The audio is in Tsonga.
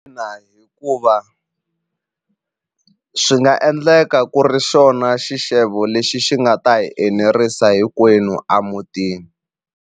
hikuva swi nga endleka ku ri xona xixevo lexi xi nga ta hi enerisa hinkwenu a mutini.